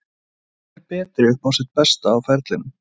Hvor er betri upp á sitt besta á ferlinum?